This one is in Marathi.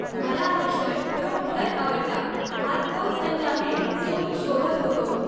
मला हा शर्ट खरोखर आवडला. हा तोच रंग आहे जो मी शोधत होतो.